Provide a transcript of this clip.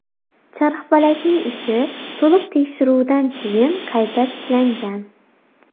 Charxpalakning ishi to‘liq tekshiruvdan keyin qayta tiklangan.